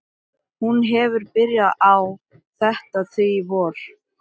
Hún hefur byrjað á því þetta vor.